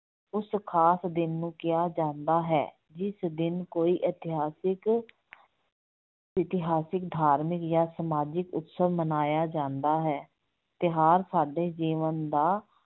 ਉਸ ਖਾਸ ਦਿਨ ਨੂੰ ਕਿਹਾ ਜਾਂਦਾ ਹੈ, ਜਿਸ ਦਿਨ ਕੋਈ ਇਤਿਹਾਸਿਕ ਇਤਿਹਾਸਿਕ, ਧਾਰਮਿਕ ਜਾਂ ਸਮਾਜਿਕ ਉਤਸਵ ਮਨਾਇਆ ਜਾਂਦਾ ਹੈ, ਤਿਉਹਾਰ ਸਾਡੇ ਜੀਵਨ ਦਾ